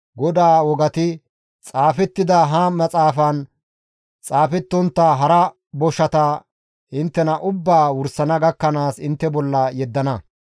GODAA wogati xaafettida ha maxaafan xaafettontta hara boshata inttena ubbaa wursana gakkanaas intte bolla yeddana.